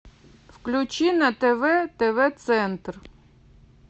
включи на тв тв центр